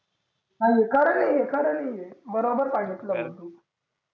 कारण नाही ये कारण नाही बरोबर पाहिजे ते